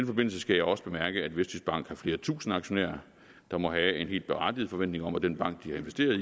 forbindelse skal jeg også bemærke at vestjyskbank har flere tusinde aktionærer der må have en helt berettiget forventning om at den bank de har investeret i